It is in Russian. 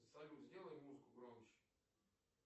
салют сделай музыку громче